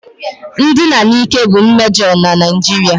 Ndina n'ike bụ mmejọ na Naijiria